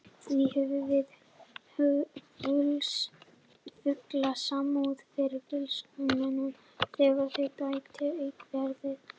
Því höfum við fulla samúð með Fylkismönnum þegar við bætist aukaferð.